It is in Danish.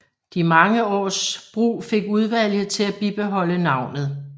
De mange års brug fik udvalget til at bibeholde navnet